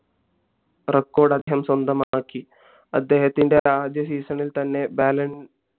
record അദ്ദേഹം സ്വന്തമാക്കി അദ്ദേഹത്തിന്റെ ആദ്യ season ഇത് തന്നെ ബാലൻ